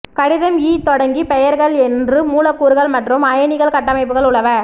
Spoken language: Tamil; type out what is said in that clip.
கடிதம் ஈ தொடங்கி பெயர்கள் என்று மூலக்கூறுகள் மற்றும் அயனிகள் கட்டமைப்புகள் உலவ